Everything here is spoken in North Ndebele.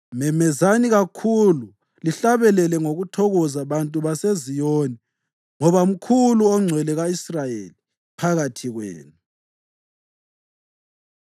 Memezani kakhulu lihlabele ngokuthokoza, bantu baseZiyoni, ngoba mkhulu oNgcwele ka-Israyeli phakathi kwenu.”